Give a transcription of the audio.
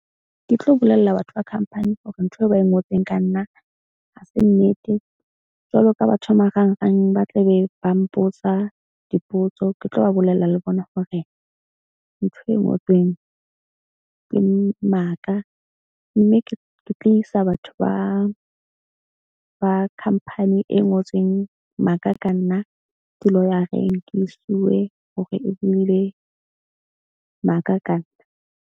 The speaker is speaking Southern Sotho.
Ke tlo bolella batho ba khampani hore ntho eo ba e ngotsweng ka nna ha se nnete. Jwalo ka batho ba marangrang, ba tla be ba mpotsa dipotso. Ke tlo ba bolella le bona hore ntho e ngotsweng ke maka. Mme ke ke tlo isa batho ba khampani e ngotseng maka ka nna di-lawyer-eng ke e sue-we hore e buile maka ka nna.